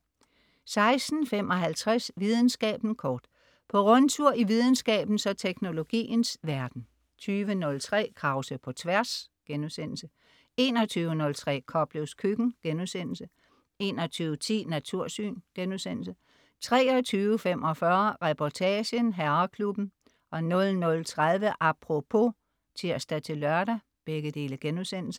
16.55 Videnskaben kort. På rundtur i videnskabens og teknologiens verden 20.03 Krause på Tværs* 21.03 Koplevs Køkken* 21.10 Natursyn* 23.45 Reportagen: Herreklubben* 00.30 Apropos* (tirs-lør)